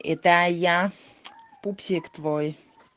это я пупсик твой